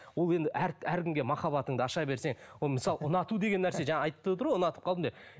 ол енді әркімге махаббатыңды аша берсең ол мысалы ұнату деген нәрсе жаңа айтып отыр ғой ұнатып қалдым деп